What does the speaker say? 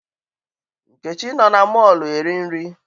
Nkechi nọ na mọọlụ eri nri.